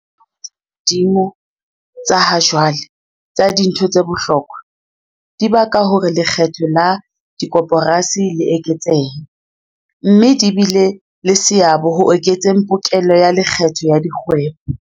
Ditjeo tse hodimo tsa ha jwale tsa dintho tse bohlokwa, dibaka hore lekgetho la dikoporasi le eketsehe, mme di bile le seabo ho eketseng pokello ya lekgetho ya dikgwebo.